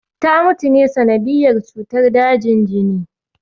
Ta mutu ne ta sanadiyyar cutar dajin jini